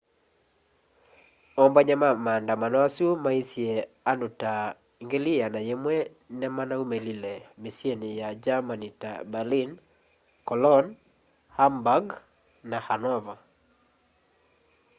ombany'a ma maandamano asu maisye andu ta 100,000 nimanaumilile misyini ya german ta berlin cologne hamburg na hanover